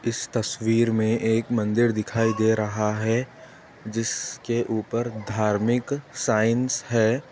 इस तस्वीर में एक मंदिर दिखाई दे रहा है जिसके ऊपर धार्मिक साइन्स है।